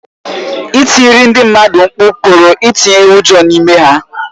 Ịtiri ndị mmadụ mkpu pụrụ itinye ụjọ n’ime ha.